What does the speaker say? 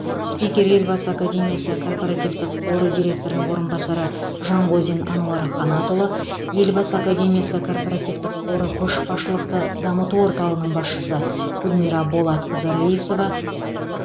спикер елбасы академиясы корпоративтік қоры директорының орынбасары жангозин ануар қанатұлы елбасы академиясы корпоративтік қоры көшбасшылықты дамыту орталығының басшысы гүлмира болатқызы раисова